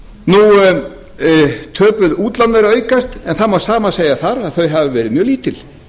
verði eðlilegt töpuð útlán eru að aukast en það má sama segja þar þau hafa verið mjög lítil